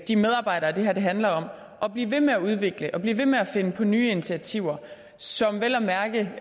de medarbejdere det her handler om at blive ved med at udvikle og blive ved med at finde på nye initiativer som vel at mærke